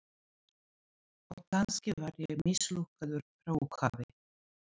Og kannski var ég mislukkaður frá upphafi.